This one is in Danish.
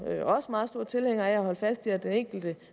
også meget store tilhængere af at holde fast i at det enkelte